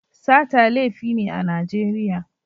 Sata laifi ne a Najeriya.